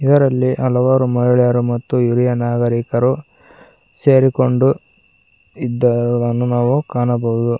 ಇದರಲ್ಲಿ ಹಲವಾರು ಮಹಿಳೆಯರು ಮತ್ತು ಹಿರಿಯ ನಾಗರಿಕರು ಸೇರಿಕೊಂಡು ಇದ್ದವರನ್ನು ನಾವು ಕಾಣಬಹುದು.